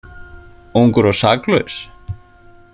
Ungur og saklaus.